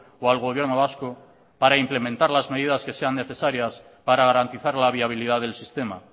o al gobierno vasco para implementar las medidas que sean necesarias para garantizar la viabilidad del sistema